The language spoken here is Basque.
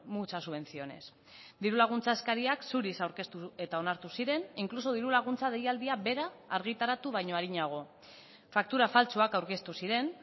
muchas subvenciones diru laguntza eskariak zuriz aurkeztu eta onartu ziren inkluso diru laguntza deialdia bera argitaratu baino arinago faktura faltsuak aurkeztu ziren